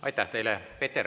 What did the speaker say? Aitäh teile!